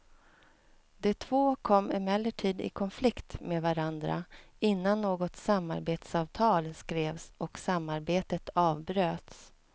De två kom emellertid i konflikt med varandra innan något samarbetsavtal skrevs och samarbetet avbröts.